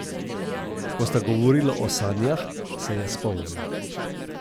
Ko sta govorila o sanjah, se je spomnil.